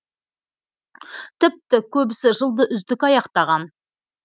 тіпті көбісі жылды үздік аяқтаған